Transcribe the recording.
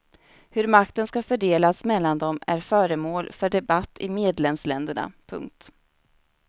Hur makten ska fördelas mellan dem är föremål för debatt i medlemsländerna. punkt